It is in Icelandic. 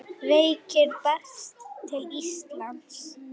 Sæll, ungi maður.